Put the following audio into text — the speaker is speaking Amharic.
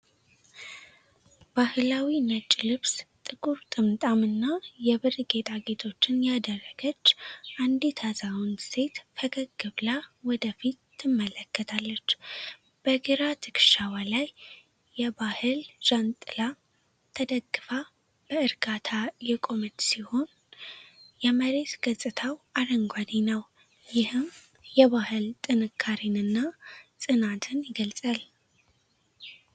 ባህላዊ ነጭ ልብስ፣ ጥቁር ጥምጣም፣ እና የብር ጌጣጌጦችን ያደረገች አንዲት አዛውንት ሴት ፈገግ ብላ ወደ ፊት ትመለከታለች። በግራ ትከሻዋ ላይ የባሕል ጃንጥላ ተደግፋ በእርጋታ የቆመች ሲሆን፣ የመሬት ገጽታው አረንጓዴ ነው፤ ይህም የባሕል ጥንካሬንና ጽናትን ይገልጻል።